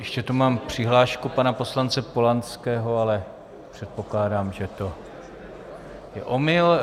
Ještě tu mám přihlášku pana poslance Polanského, ale předpokládám, že to je omyl.